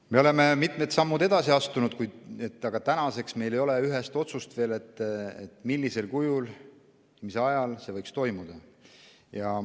Me oleme mitmed sammud edasi astunud, aga tänaseks ei ole meil veel ühest otsust, millisel kujul ja mis ajal see võiks toimuda.